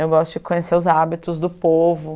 Eu gosto de conhecer os hábitos do povo.